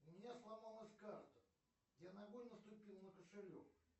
у меня сломалась карта я ногой наступил на кошелек